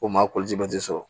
O maa koji sɔrɔ